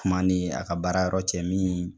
kuma ni a ka baara yɔrɔ cɛ min